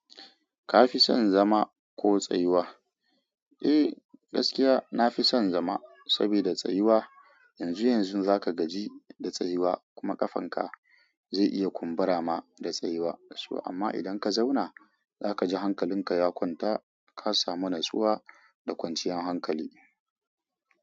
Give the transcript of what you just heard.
Ka fi son zama ko tsayuwa? Eh gaskiya nafi son zama saboda tsayuwa yanzu yanzu zaka gaji da tsayuwa kuma kafanka zai iya kumbura ma da tsayuwa da su amma idan ka zauna zaka ji hankalinka ya kwanta kasamu natsuwa da kwanciyan hankali.